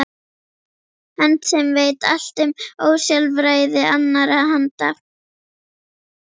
Hönd sem veit allt um ósjálfræði annarra handa.